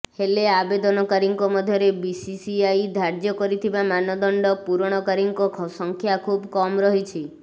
ହେଲେ ଆବେଦନକାରୀଙ୍କ ମଧ୍ୟରେ ବିସିସିଆଇ ଧାର୍ଯ୍ୟ କରିଥିବା ମାନଦଣ୍ଡ ପୂରଣକାରୀଙ୍କ ସଂଖ୍ୟା ଖୁବ୍ କମ୍ ରହିଛି